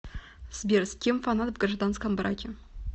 сбер с кем фанат в гражданском браке